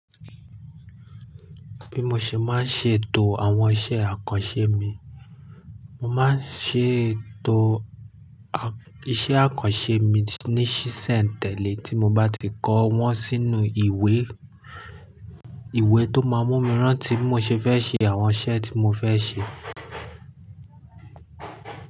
Bí mo ṣe máa ṣe ètò àwọn iṣẹ́ àkànṣe mi, mo máa ṣe ètò iṣẹ́ àkànṣe mi ní sínṣe tèlé tí mo bá ti kọ́ wọn sínú ìwé. Ìwé tó máa mú mi rántí bí mo ṣe fẹ́ ṣe àwọn iṣẹ́ tí mo fẹ́ ṣe.